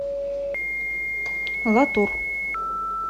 латур